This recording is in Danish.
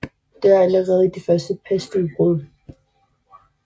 Dør allerede i det første pestudbrud